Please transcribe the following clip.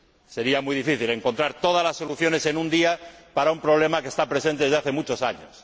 Sería muy difícil encontrar todas las soluciones en un día para un problema que está presente desde hace muchos años.